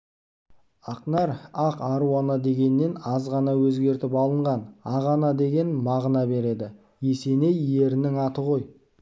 ақнар ақ аруана дегеннен аз ғана өзгертіп алынған ақ ана деген мағына береді есеней ерінің аты ғой